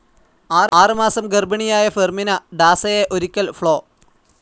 ആറ് മാസം ഗർഭിണിയായ ഫെർമിന ഡാസയെ ഒരിക്കൽ ഫ്ലോ.